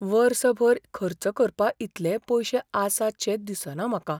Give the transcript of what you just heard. वर्सभर खर्च करपाइतलेय पयशे आसातशे दिसना म्हाका.